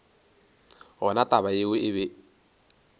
gona taba yeo e be